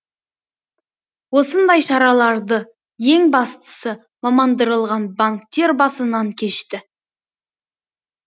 осындай шараларды ең бастысы мамандандырылған банктер басынан кешті